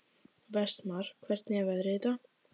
Vestmar, hvernig er veðrið í dag?